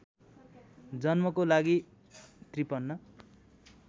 जन्मको लागि ५३